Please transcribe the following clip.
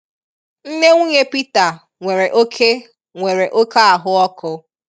Nne nwunye Pita nwere oké nwere oké ahụ́ọkụ.